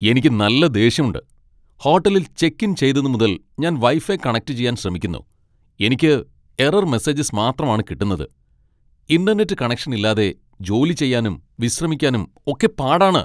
എനിക്ക് നല്ല ദേഷ്യമുണ്ട്! ഹോട്ടലിൽ ചെക്ക് ഇൻ ചെയ്തതുമുതൽ ഞാൻ വൈഫൈ കണക്റ്റുചെയ്യാൻ ശ്രമിക്കുന്നു, എനിക്ക് എറർ മെസ്സേജസ് മാത്രമാണ് കിട്ടുന്നത് . ഇന്റർനെറ്റ് കണക്ഷൻ ഇല്ലാതെ ജോലി ചെയ്യാനും വിശ്രമിക്കാനും ഒക്കെ പാടാണ്.